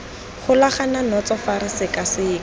golagana natso fa re sekaseka